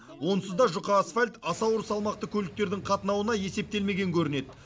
онсыз да жұқа асфальт аса ауыр салмақты көліктердің қатынауына есептелмеген көрінеді